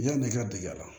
Yann'i ka dege a la